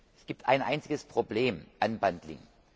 Es gibt ein einziges Problem Unbundling